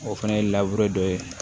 O fana ye dɔ ye